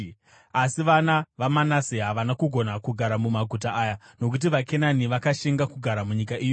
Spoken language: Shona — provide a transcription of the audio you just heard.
Asi vana vaManase havana kugona kugara mumaguta aya, nokuti vaKenani vakashinga kugara munyika iyoyo.